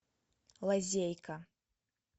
лазейка